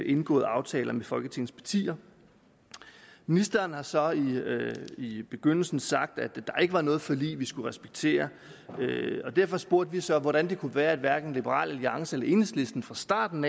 indgåede aftaler med folketings partier ministeren har så i begyndelsen sagt at der ikke var noget forlig vi skulle respektere derfor spurgte vi så hvordan det kunne være at hverken liberal alliance eller enhedslisten fra starten